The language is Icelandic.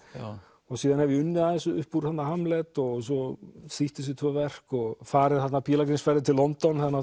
og síðan hef ég unnið aðeins upp úr Hamlet og svo þýtt þessi tvö verk og farið pílagrímsferðir til London